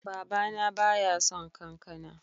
Baba na ba ya son kankana.